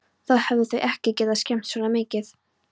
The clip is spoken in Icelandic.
Þá hefðu þau ekki getað skemmt svona mikið.